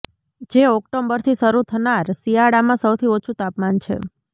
જે ઓક્ટોબરથી શરૂ થનાર શિયાળામાં સૌથી ઓછું તાપમાન છે